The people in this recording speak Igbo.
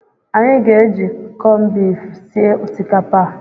Anyị ga-eji kọnbifu sie osikapa a.